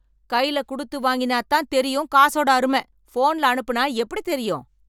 கையில குடுத்து வாங்கினா தான் தெரியும் காசோட அருமை, போன்ல அனுப்பினா எப்படி தெரியும்?